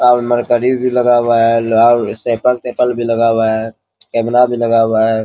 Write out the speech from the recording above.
और मरकरी भी लगा हुआ है | लोहा साइकिल ताईकल भी लगा हुआ है | कैमरा भी लगा हुआ है |